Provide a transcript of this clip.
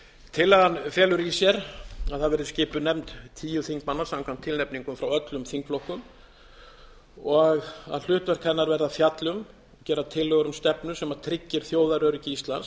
tillagan felur í sér að það verði skipuð nefnd tíu þingmanna samkvæmt tilnefningum frá öllum þingflokkum og að hlutverk hennar verði að fjalla um gera tillögur um stefnu sem tryggir þjóðaröryggi íslands